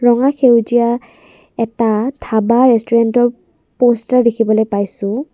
ৰঙা সেউজীয়া এটা ধাবা ৰেষ্টোৰেণ্টৰ প'ষ্টাৰ দেখিবলৈ পাইছোঁ।